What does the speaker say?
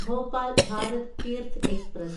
Bhopal Bharat Tirth express